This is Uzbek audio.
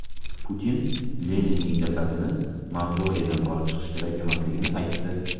Putin Leninning jasadini mavzoleydan olib chiqish kerak emasligini aytdi.